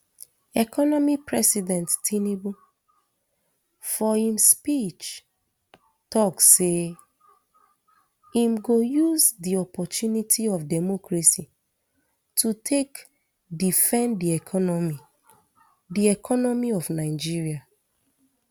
economy president tinubu for im speech tok say im go use di opportunity of democracy to take defend di economy di economy of nigeria